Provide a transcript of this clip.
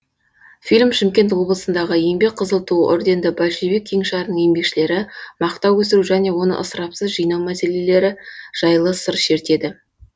фильм шымкент облысындағы еңбек қызыл ту орденді большевик кеңшарының еңбекшілері мақта өсіру және оны ысырапсыз жинау мәселелері жайлы сыр шертеді